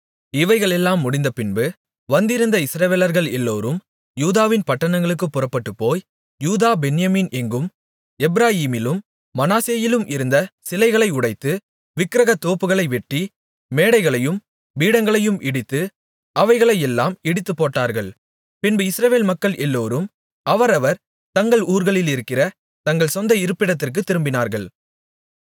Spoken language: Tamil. இவைகளெல்லாம் முடிந்தபின்பு வந்திருந்த இஸ்ரவேலர்கள் எல்லோரும் யூதாவின் பட்டணங்களுக்குப் புறப்பட்டுப்போய் யூதா பென்யமீன் எங்கும் எப்பிராயீமிலும் மனாசேயிலும் இருந்த சிலைகளை உடைத்து விக்கிரகத்தோப்புகளை வெட்டி மேடைகளையும் பீடங்களையும் இடித்து அவைகளையெல்லாம் இடித்துப்போட்டார்கள் பின்பு இஸ்ரவேல் மக்கள் எல்லோரும் அவரவர் தங்கள் ஊர்களிலிருக்கிற தங்கள் சொந்த இருப்பிடத்திற்குத் திரும்பினார்கள்